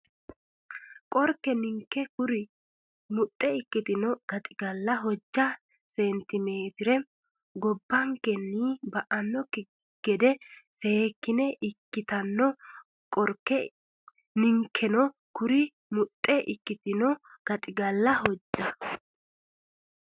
Qorke ninkeno kuri muxxe ikkitino gaxigalla hojja seentimeetire gobbankenni ba annokki gede seekkine ikkitanno Qorke ninkeno kuri muxxe ikkitino gaxigalla hojja.